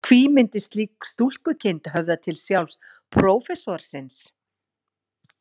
Hví myndi slík stúlkukind höfða til sjálfs prófessorsins?